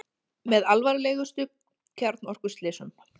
Með alvarlegustu kjarnorkuslysum